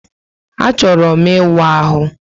A chọrọ m íwú ahụ